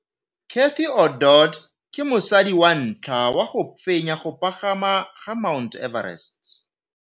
Cathy Odowd ke mosadi wa ntlha wa go fenya go pagama ga Mt Everest.